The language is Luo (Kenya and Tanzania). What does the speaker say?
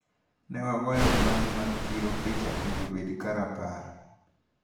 Newagoyo mwandu mag chiro picha mondo obed ka rapar.